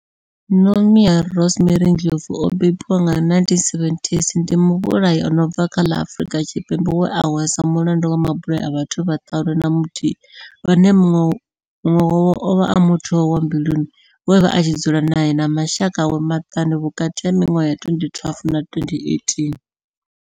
Nomia Rosemary Ndlovu o bebiwaho nga 1978 ndi muvhulahi a no bva kha ḽa Afurika Tshipembe we a hweswa mulandu wa mabulayo a vhathu vhaṱanu na muthihi vhane munwe wavho ovha a muthu wawe wa mbiluni we avha a tshi dzula nae na mashaka awe maṱanu vhukati ha minwaha ya 2012 na 2018.